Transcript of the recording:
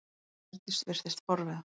Hjördís virtist forviða.